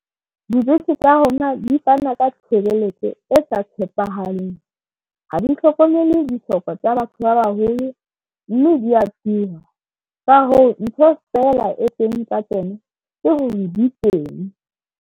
Dibese tsa rona di fana ka tshebeletso e sa tshepahaleng ha di hlokomele dihloko tsa batho ba baholo, mme dia tura ka hoo ntho fela e teng ka kena ke hore di teng.